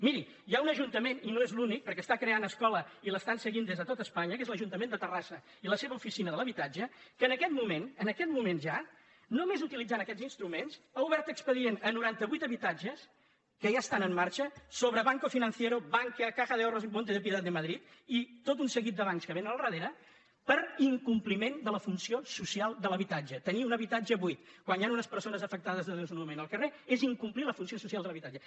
miri hi ha un ajuntament i no és l’únic perquè està creant escola i l’estan seguint des de tot espanya que és l’ajuntament de terrassa i la seva oficina de l’habitatge que en aquest moment en aquest moment ja només utilitzant aquests instru·ments ha obert expedient a noranta·vuit habitatges que ja estan en marxa sobre banco financiero ban·kia caja de ahorros y monte de piedad de madrid i tot un seguit de bancs que vénen al darrere per in·compliment de la funció social de l’habitatge tenir un habitatge buit quan hi han unes persones afectades de desnonament al carrer és incomplir la funció social de l’habitatge